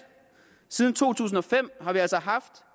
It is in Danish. siden to tusind og fem har vi altså haft